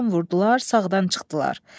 Soldan vurdular, sağdan çıxdılar.